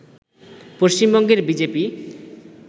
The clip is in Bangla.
পশ্চিমবঙ্গের বি জে পি